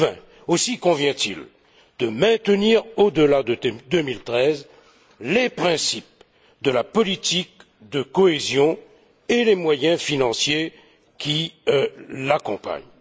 2020. Aussi convient il de maintenir au delà de 2013 les principes de la politique de cohésion et les moyens financiers qui l'accompagnent.